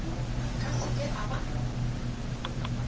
ka se ke a ba